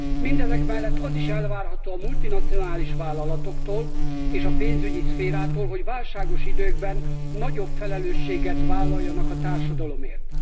Mindezek mellett az is elvárható a multinacionális vállalatoktól és a pénzügyi szférától, hogy válságos időkben nagyobb felelősséget vállaljanak a társadalomért.